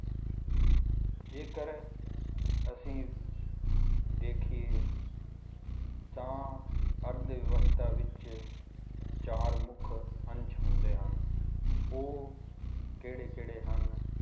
ਜੇਕਰ ਅਸੀਂ ਦੇਖੀਏ ਤਾਂ ਅਰਥ ਵਿਵਸਥਾ ਵਿੱਚ ਚਾਰ ਮੁੱਖ ਅੰਸ਼ ਹੁੰਦੇ ਹਨ, ਉਹ ਕਿਹੜੇ ਕਿਹੜੇ ਹਨ,